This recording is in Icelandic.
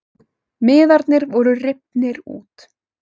Miðarnir voru rifnir út